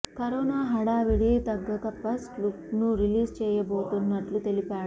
corona హడావిడి తగ్గక first look ను రిలీజ్ చేయబోతున్నట్లు తెలిపాడు